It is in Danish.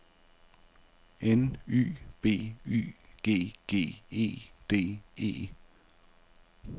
N Y B Y G G E D E